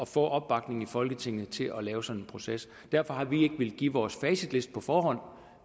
få opbakning i folketinget til at lave sådan en proces derfor har vi ikke villet give vores facitliste på forhånd